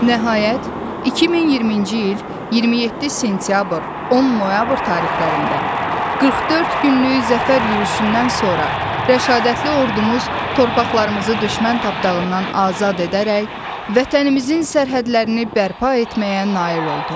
Nəhayət, 2020-ci il 27 sentyabr-10 noyabr tarixlərində 44 günlük zəfər yürüşündən sonra Rəşadətli Ordumuz torpaqlarımızı düşmən tapdağından azad edərək vətənimizin sərhədlərini bərpa etməyə nail oldu.